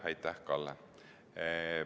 Aitäh, Kalle!